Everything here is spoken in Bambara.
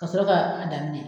Kasɔrɔ ka a daminɛ.